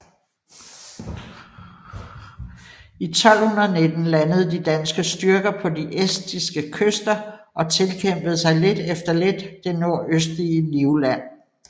I 1219 landede de danske styrker på de estiske kyster og tilkæmpede sig lidt efter lidt det nordøstlige Livland